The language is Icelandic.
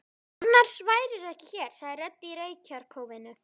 Annars værirðu ekki hér, sagði rödd í reykjarkófinu.